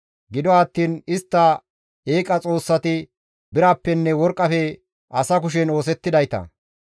Gido attiin istta eeqa xoossati birappenne worqqafe asa kushen oosettidayta.